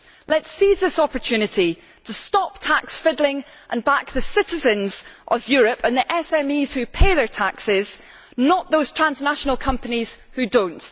Let us seize this opportunity to stop tax fiddling and back the citizens of Europe and the SMEs who pay their taxes, not those transnational companies who do not.